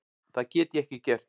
Það get ég ekki gert.